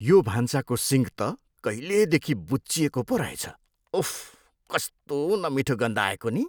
यो भान्साको सिङ्क त कहिलेदेखि बुच्चिएको पो रहेछ। उफ्! कस्तो नमिठो गन्ध आएको नि!